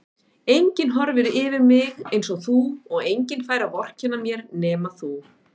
Enginn horfir yfir mig einsog þú og enginn fær að vorkenna mér nema þú.